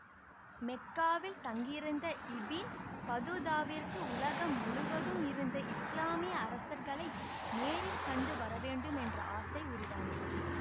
மெக்காவில் தங்கியிருந்த இபின் பதூதாவிற்கு உலகம் முழுவதும் இருந்த இஸ்லாமிய அரசர்களை நேரில் கண்டு வரவேண்டும் என்ற ஆசை உருவானது